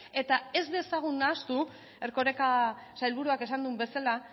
eta ez dezagun nahastu erkoreka sailburuak esan duen bezala